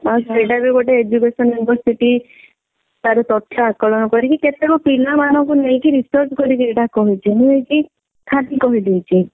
ଆଉ ସେଇଟା ବି ଗୋଟେ education university ତାର ପ୍ରଥା ଆକଲନ କରିକି କେତେକ ପିଲାମାନଙ୍କୁ ନେଇକି research କରିକି ଏଇଟା କହୁଛି ନୁହେଁ କି ଖାଲି କହି ଦଉଛି।